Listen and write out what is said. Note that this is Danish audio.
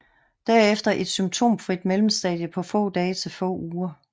Derefter et symptomfrit mellemstadie på få dage til få uger